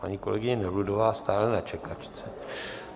Paní kolegyně Nevludová stále na čekačce.